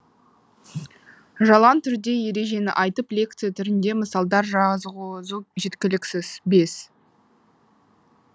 жалаң түрде ережені айтып лекция түрінде мысалдар жазғызу жеткіліксіз бес